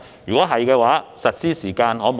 若然，能否加快實施的時間？